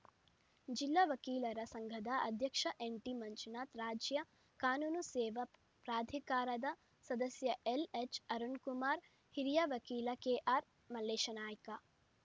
ಜಿಲ್ಲಾ ವಕೀಲರ ಸಂಘದ ಅಧ್ಯಕ್ಷ ಎನ್‌ಟಿಮಂಜುನಾಥ ರಾಜ್ಯ ಕಾನೂನು ಸೇವಾ ಪ್ರಾಧಿಕಾರದ ಸದಸ್ಯ ಎಲ್‌ಎಚ್‌ಅರುಣಕುಮಾರಹಿರಿಯ ವಕೀಲ ಕೆಆರ್‌ಮಲ್ಲೇಶನಾಯ್ಕ